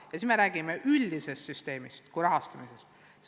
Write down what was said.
Ja sel juhul me räägime üldisest rahastamissüsteemist.